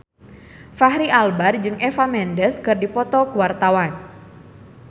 Fachri Albar jeung Eva Mendes keur dipoto ku wartawan